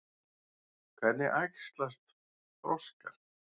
Hvernig æxlast froskar?